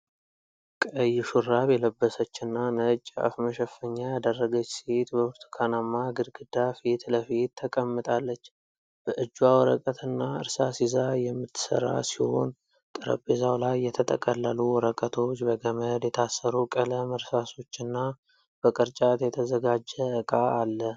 ቀይ ሹራብ የለበሰችና ነጭ የአፍ መሸፈኛ ያደረገች ሴት በብርቱካናማ ግድግዳ ፊት ለፊት ተቀምጣለች። በእጇ ወረቀትና እርሳስ ይዛ የምትሰራ ሲሆን፤ ጠረጴዛው ላይ የተጠቀለሉ ወረቀቶች፣ በገመድ የታሰሩ ቀለም እርሳሶችና በቅርጫት የተዘጋጀ ዕቃ አለ።